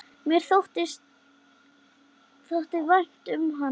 Mér þótti vænt um hana.